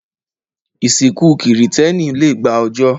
Ìsìnkú Kìrìtẹ́ẹ́nì le gba ọjọ́.